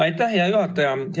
Aitäh, hea juhataja!